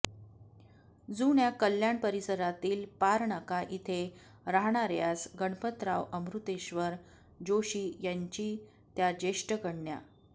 जुन्या कल्याण परिसरातील पारनाका इथे राहणार्यास गणपतराव अमृतेश्वर जोशी यांची त्या ज्येष्ठ कन्या